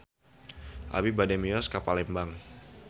Abi bade mios ka Palembang